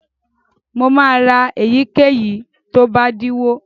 Mo máa ra èyíkéyìí tó bá dínwó.